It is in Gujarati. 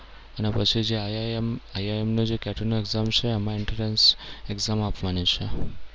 અને પછી જે IIM IIM ની જે કેટી ની exam જે છે એ એમાં entrance exam આપવાની છે.